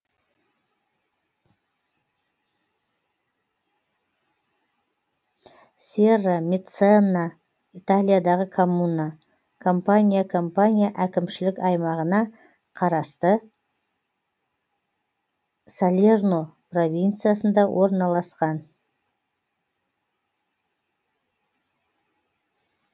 серрамеццана италиядағы коммуна кампания кампания әкімшілік аймағына қарасты салерно провинциясында орналасқан